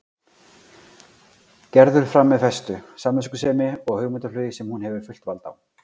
Gerður fram með festu, samviskusemi og hugmyndaflugi sem hún hefur fullt vald á.